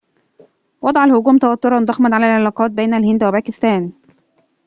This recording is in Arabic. وضع الهجوم توتراً ضخماً علي العلاقات بين الهند وباكستان